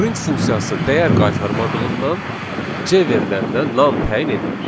Print funksiyası dəyər qaytarmadığından C veriləninə nan təyin edilir.